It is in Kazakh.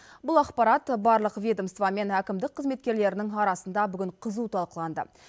бұл ақпарат барлық ведомство мен әкімдік қызметкерлерінің арасында бүгін қызу талқыланды